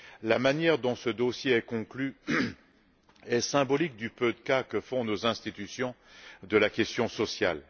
La manière dont ce dossier est conclu est symbolique du peu de cas que font nos institutions de la question sociale.